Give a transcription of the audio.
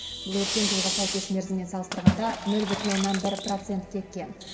бұл өткен жылғы сәйкес мерзіммен салыстырғанда нөл бүтін оннан бір процентке кем